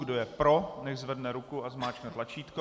Kdo je pro, nechť zvedne ruku a zmáčkne tlačítko.